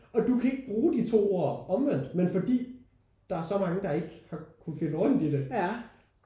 Og du kan ikke bruge de to ord omvendt men fordi der er så mange der ikke har kunne finde rundt i det